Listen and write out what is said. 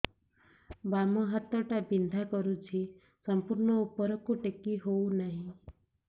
ବାମ ହାତ ଟା ବିନ୍ଧା କରୁଛି ସମ୍ପୂର୍ଣ ଉପରକୁ ଟେକି ହୋଉନାହିଁ